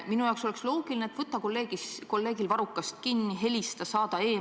Minu jaoks oleks loogiline, et võta kolleegil varrukast kinni või helista või saada meil.